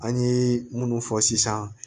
An ye munnu fɔ sisan